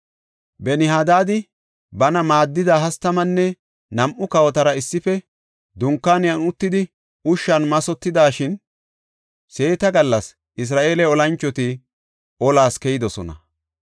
Ben-Hadaadi bana maaddida hastamanne nam7u kawotara issife dunkaaniyan uttidi ushshan mathotidashin, seeta gallas Isra7eele olanchoti olas keyidosona.